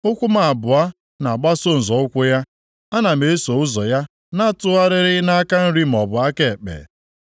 ụkwụ m abụọ na-agbaso nzọ ụkwụ ya; ana m eso ụzọ ya na-atụgharịghị nʼaka nri maọbụ aka ekpe.